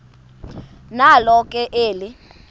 nalo ke eli